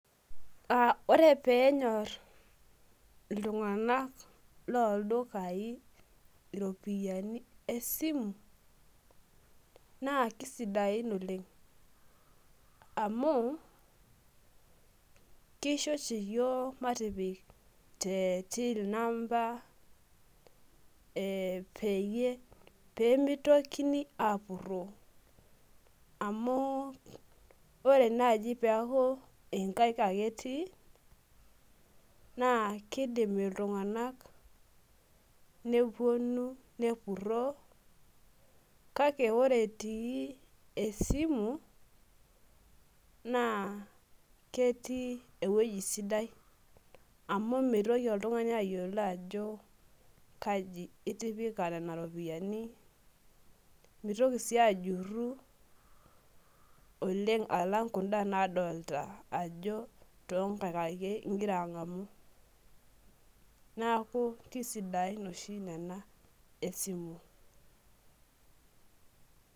ore pee enyor iltung'anak, loo ildukai iropiyiani esimu naa kisidain oleng' amu kisho oshi iyiok matipik te till namba , pee mitokini aapuroo, amu ore naaji pee eeku inkaik ake etii naa kidim iltung'anak nepuonu nepuroo, kake ore etii esimu naa ketii eweji sidai amu mitoki oltung'ani ayiolo ajo kaji itipika nena ropiyiani, mitoki sii ajuru alang' kuda naaolta ajo inkaik etii neeku kisidain oleng' tesimu.